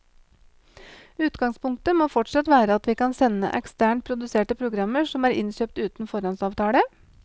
Utgangspunktet må fortsatt være at vi kan sende eksternt produserte programmer som er innkjøpt uten foråndsavtale.